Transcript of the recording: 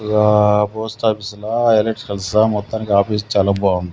ఇగా పోస్ట్ ఆఫీసులా ఎలక్ట్రికల్ సా మొత్తానికి ఆఫీస్ చాలా బాగుంది.